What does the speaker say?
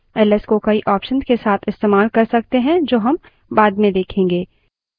1s को कई options के साथ इस्तेमाल कर सकते हैं जो हम बाद में देखेंगे